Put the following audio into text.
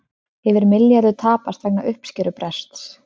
Yfir milljarður tapast vegna uppskerubrests